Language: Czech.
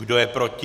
Kdo je proti?